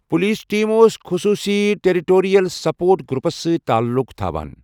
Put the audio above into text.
Police team اوس خصوٗصی territorial support groups سۭتۍ تعلق تھَوان۔